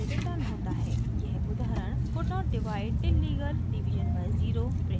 यह उदाहरण could not divide illegal division by zero print करेगा